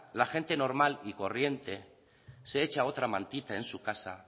la gente normal y corriente se echa otra mantita en su casa